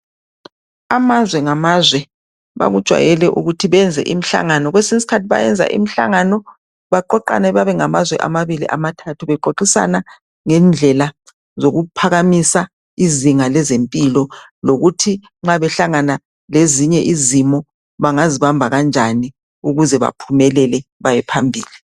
amazwe lamazwe bakujwayele ukuthi beyenze imihlangano kwesinye isikhathi beyenze imihlangano beqhoqane bebengamazwe amabili amathathu beqhoqisane ngendlela zokuphakamisa izinga lezempilo lokuthi nxa behlangana lezinye izimo bangazibamba kanjani ukuze baphumelele bayephambili